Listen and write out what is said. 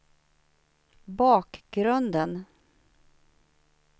bakgrunden